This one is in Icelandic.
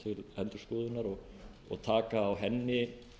stjórnarskrána til endurskoðunar og taka á henni